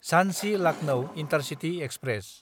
झानसि–लाकनौ intercity express